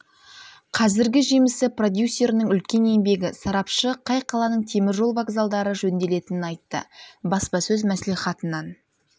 қазіргі жемісі продюсерінің үлкен еңбегі сарапшы қай қаланың темір жол вокзалдары жөнделетінін айтты баспасөз мәслихатынан